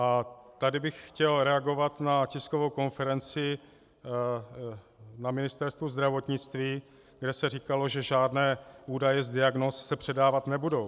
A tady bych chtěl reagovat na tiskovou konferenci na Ministerstvu zdravotnictví, kde se říkalo, že žádné údaje z diagnóz se předávat nebudou.